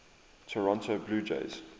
toronto blue jays